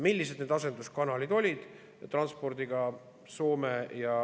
Millised olid need asenduskanalid transpordis?